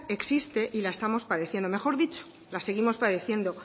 existe y la estamos padeciendo mejor dicho la seguimos padeciendo